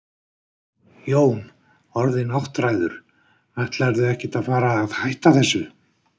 Jón: Orðinn áttræður, ætlarðu ekkert að fara að hætta þessu?